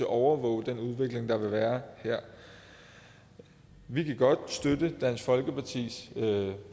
overvåge den udvikling der vil være her vi kan godt støtte dansk folkepartis